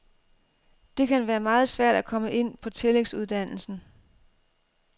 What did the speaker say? Det kan være meget svært at komme ind på tillægsuddannelsen.